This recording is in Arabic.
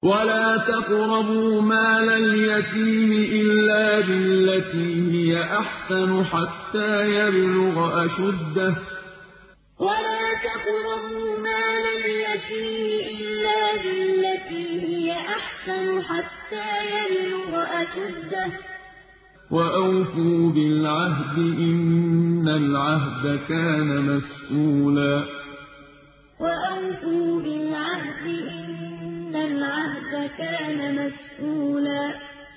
وَلَا تَقْرَبُوا مَالَ الْيَتِيمِ إِلَّا بِالَّتِي هِيَ أَحْسَنُ حَتَّىٰ يَبْلُغَ أَشُدَّهُ ۚ وَأَوْفُوا بِالْعَهْدِ ۖ إِنَّ الْعَهْدَ كَانَ مَسْئُولًا وَلَا تَقْرَبُوا مَالَ الْيَتِيمِ إِلَّا بِالَّتِي هِيَ أَحْسَنُ حَتَّىٰ يَبْلُغَ أَشُدَّهُ ۚ وَأَوْفُوا بِالْعَهْدِ ۖ إِنَّ الْعَهْدَ كَانَ مَسْئُولًا